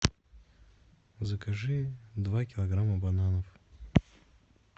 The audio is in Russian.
закажи два килограмма бананов